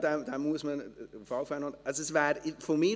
– Ja, den muss man auf alle Fälle noch nehmen.